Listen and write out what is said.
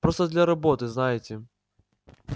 просто для работы знаете